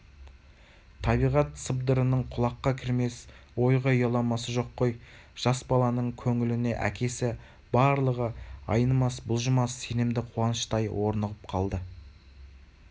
табиғат сыбырының құлаққа кірмес ойға ұяламасы жоқ қой жас баланың көңіліне әкесі барлығы айнымас-бұлжымас сенімді қуаныштай орнығып қалды